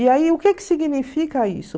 E aí, o que que significa isso?